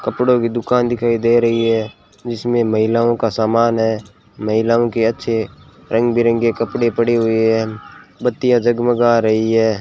कपड़ों की दुकान दिखाई दे रही है जिसमें महिलाओं का समान है महिलाओं के अच्छे रंग बिरंगे कपड़े पड़े हुए हैं बत्तियां जगमगा रही हैं।